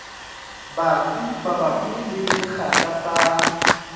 batsi mabapi le sekgahla sa